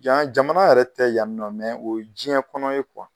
Yan jamana yɛrɛ tɛ yan ni nɔ o ye jɛn kɔnɔ ye